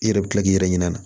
I yɛrɛ bi kila k'i yɛrɛ ɲina na